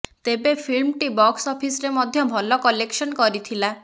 ତେବେ ଫିଲ୍ମଟି ବକ୍ସ ଅଫିସରେ ମଧ୍ୟ ଭଲ କଲେକ୍ସନ୍ କରିଥିଲା